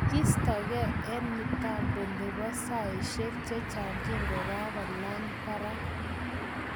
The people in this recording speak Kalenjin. Kistagen en mitambo nepo saishek chechaag kikokalach paraak